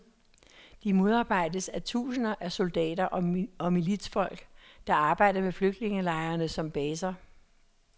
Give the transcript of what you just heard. De modarbejdes af tusinder af soldater og militsfolk, der arbejder med flygtningelejrene som baser.